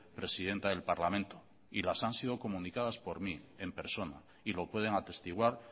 presidenta del parlamento y las han sido comunicadas por mí en persona y lo pueden atestiguar